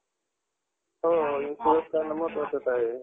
तेच म्हणलं काय करती काय नाही. म्हणून call केलेला.